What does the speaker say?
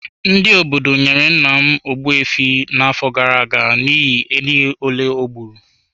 Ndị obodo m nyere nna m Ogbu efi n’afọ gara aga n’ihi ehi ole o gburu.